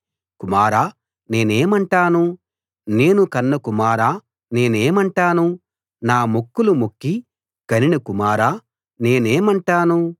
కుమారా నేనేమంటాను నేను కన్న కుమారా నేనేమంటాను నా మొక్కులు మొక్కి కనిన కుమారా నేనే మంటాను